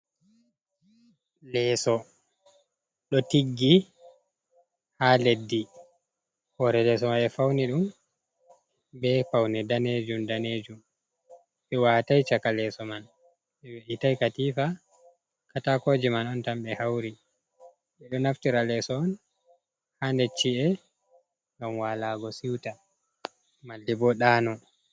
Lesó ɗo tiggi ha leɗdi. Hore lesô man bé fauni dum bé pauni danejum- danejum, bé watai chaka lesô man béh weitai katifa, katakoje man on tam be hauri bedo naftira leso on ha necci e ngam walago siuta malde bo dano.